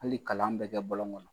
Hali kalan bɛ kɛ bɔlɔn kɔnɔ.